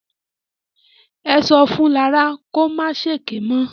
Ẹ sọ fún Lará kó ma ṣèké mọ́.